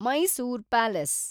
Mysore palace